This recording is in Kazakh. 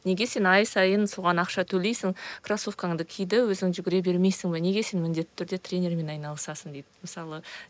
неге сен ай сайын соған ақша төлейсің крассовкаңды ки де өзің жүгіре бермейсің бе неге сен міндетті түрде тренермен айналысасың дейді мысалы